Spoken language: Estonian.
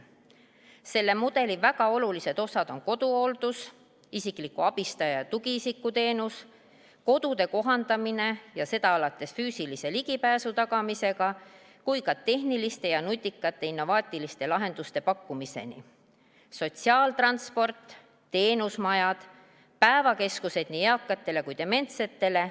Selle mudeli väga olulised osad on koduhooldus, isikliku abistaja ja tugiisiku teenus, kodude kohandamine alates füüsilise ligipääsu tagamisest kuni tehniliste ja nutikate innovaatiliste lahenduste pakkumiseni, sotsiaaltransport, teenusmajad, päevakeskused nii eakatele kui dementsetele.